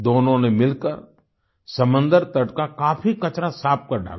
दोनों ने मिलकर समंदर तट का काफी कचरा साफ कर डाला